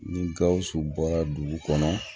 Ni gawusu bɔra dugu kɔnɔ